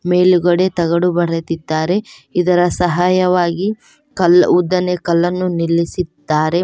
ಮೇಲುಗಡೆ ತಗಡು ಬಡೆದಿದ್ದಾರೆ ಇದರ ಸಹಾಯವಾಗಿ ಕಲ್ ಉದ್ದನೇ ಕಲ್ಲನ್ನು ನಿಲ್ಲಿಸಿದ್ದಾರೆ.